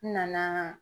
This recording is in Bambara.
N nana